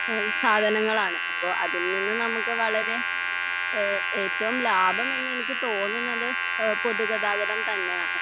എഹ് സാധനങ്ങളാണ് അപ്പൊ അതിൽ നിന്നും നമ്മുക്ക് വളരെ എഹ് ഏറ്റവും ലാഭമെന്ന് എനിക്ക് തോന്നുന്നത് എഹ് പൊതുഗതാഗതം തന്നെയാണ്.